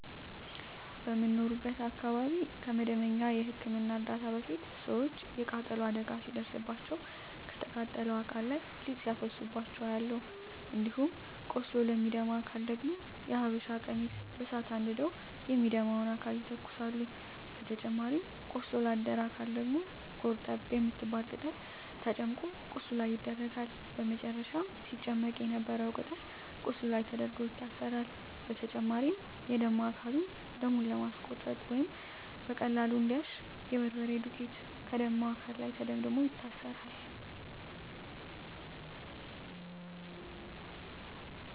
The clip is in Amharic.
በምኖርበት አካባቢ ከመደበኛ የህክምና እርዳታ በፊት ሰወች የቃጠሎ አደጋ ሲደርስባቸው ከተቃጠለው አካል ላይ ሊጥ ሲያፈሱባቸው አያለሁ። እንዲሁም ቆስሎ ለሚደማ አካል ደግሞ የሀበሻ ቀሚስ በሳት አንድደው የሚደማውን አካል ይተኩሳሉ በተጨማሪም ቆስሎ ላደረ አካል ደግሞ ጎርጠብ የምትባል ቅጠል ተጨምቆ ቁስሉ ላይ ይደረጋል በመጨረም ሲጨመቅ የነበረው ቅጠል ቁስሉ ላይ ተደርጎ ይታሰራል። በተጨማሪም የደማ አካልን ደሙን ለማስቆመረ ወይም በቀላሉ እንዲያሽ የበርበሬ ዱቄት ከደማው አካል ላይ ተደምድሞ ይታሰራል።